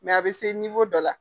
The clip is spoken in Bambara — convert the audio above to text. a be se dɔ la